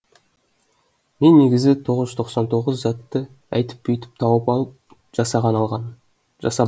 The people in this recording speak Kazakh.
мен негізі тоғыз жүз тоқсан тоғыз затты әйтіп бүйтіп тауып жасап алғам